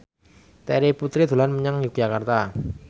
Terry Putri dolan menyang Yogyakarta